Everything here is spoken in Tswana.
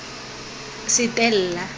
setella